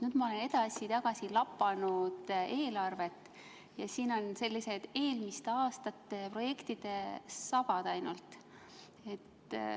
Nüüd ma olen edasi-tagasi lapanud eelarvet ja siin on sellised eelmiste aastate projektide sabad ainult.